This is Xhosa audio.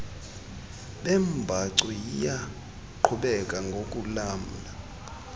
beembacu liyaqhubeka ngokulamla